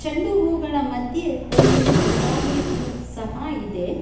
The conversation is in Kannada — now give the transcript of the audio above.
ಚೆಂಡು ಹೂಗಳ ಮಧ್ಯೆ ಒಂದು ಗುಲಾಬಿ ಹೂ ಸಹಾ ಇದೆ.